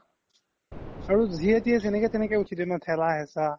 যিয়ে তিয়ে জেনেকে তেনেকে উথি দিয়ে ন থেলা হেচা